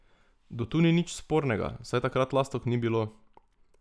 Do tu nič spornega, saj takrat lastovk ni bilo.